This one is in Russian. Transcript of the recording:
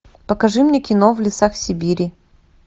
покажи мне кино в лесах сибири